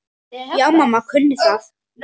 Já, mamma kunni það.